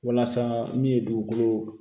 Walasa min ye dugukolo